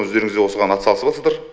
өздеріңізде осыған ат салысыватсыздар